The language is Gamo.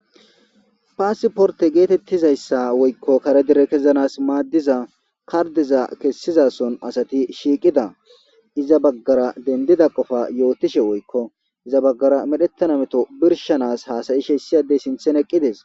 Paasi porte geetettizayssa woykko kare dire kezanas maaddiza kardeza kessizason asati shiiqida iza baggara dendida qofa yootishe woykko iza baggara medhettana meto birshanas haasayi sheessiadey sinthen eqqides.